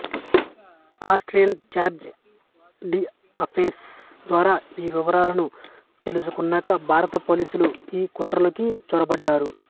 Austrian charge d'affaires ద్వారా ఈ వివరాలను తెలుసుకున్నాక భారత పోలీసులు ఈ కుట్రలోకి చొరబడ్డారు